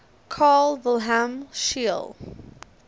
carl wilhelm scheele